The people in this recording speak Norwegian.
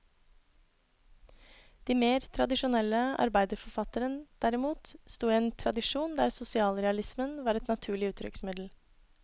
De mer tradisjonelle arbeiderforfatteren derimot, stod i en tradisjon der sosialrealismen var et naturlig uttrykksmiddel.